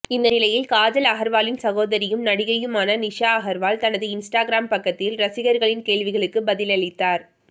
இந்த நிலையில் காஜல் அகர்வாலின் சகோதரியும் நடிகையுமான நிஷா அகர்வால் தனது இன்ஸ்டாகிராம் பக்கத்தில் ரசிகர்களின் கேள்விகளுக்கு பதிலளித்தார்